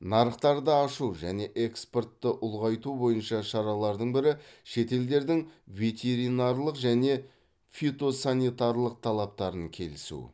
нарықтарды ашу және экспортты ұлғайту бойынша шаралардың бірі шетелдердің ветеринарлық және фитосанитарлық талаптарын келісу